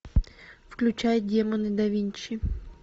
включай демоны да винчи